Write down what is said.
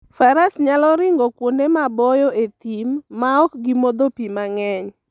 Faras nyalo ringo kuonde maboyo e thim maok gimodho pi mang'eny.